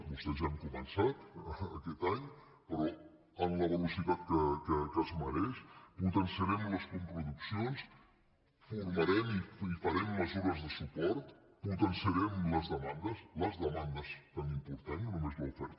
vostès ja han començat aquest any però amb la velocitat que es mereix potenciarem les coproduccions formarem i farem mesures de suport potenciarem les demandes les demandes tan importants no només l’oferta